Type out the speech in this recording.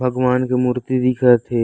भगवान के मूर्ति दिखत हे।